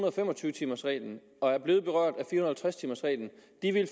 og fem og tyve timers reglen og er blevet berørt af og halvtreds timers reglen